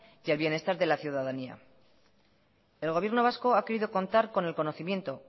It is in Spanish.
y el bienestar de la ciudadanía el gobierno vasco ha querido contar con el conocimiento